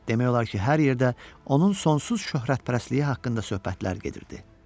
Demək olar ki, hər yerdə onun sonsuz şöhrətpərəstliyi haqqında söhbətlər gedirdi.